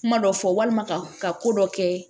Kuma dɔ fɔ walima ka ka ko dɔ kɛ